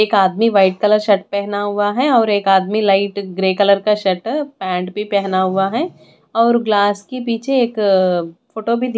एक आदमी white colour shirt पहना हुआ है और एक आदमी लाइट ग्रे कलर का शर्ट पैंट भी पहना हुआ है और ग्लास के पीछे एक फोटो भी--